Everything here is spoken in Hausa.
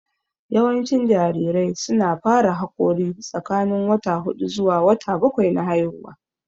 Yawancin jarirai su na fara haƙora tsakanin wata hudu zuwa bakwai na haihuwa